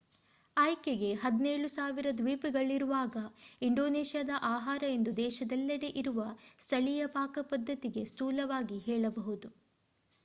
ಆಯ್ಕೆಗೆ 17,000 ದ್ವೀಪಗಳಿರುವಾಗ ಇಂಡೋನೇಷ್ಯಾದ ಆಹಾರ ಎಂದು ದೇಶದೆಲ್ಲೆಡೆ ಇರುವ ಸ್ಥಳೀಯ ಪಾಕಪದ್ಧತಿಗೆ ಸ್ಥೂಲವಾಗಿ ಹೇಳಬಹುದು